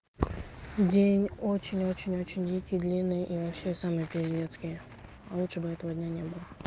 день очень-очень-очень дикий и длинный и вообще самый пиздецкий лучше бы этого дня не было